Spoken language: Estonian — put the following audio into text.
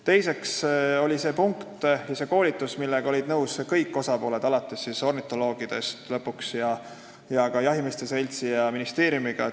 Teiseks olid selle koolituse punktiga nõus kõik osapooled, alates ornitoloogidest ning lõpetades jahimeeste seltsi ja ministeeriumiga.